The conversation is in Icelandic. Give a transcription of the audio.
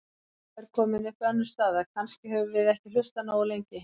Þá er komin upp önnur staða: Kannski höfum við ekki hlustað nógu lengi.